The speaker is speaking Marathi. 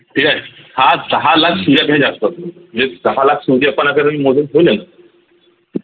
ठीक आहे हा दहा लाख सुर्यापेक्षा जास्त असतो म्हणजे दहा लाख सूर्य जर मोजून ठेवले न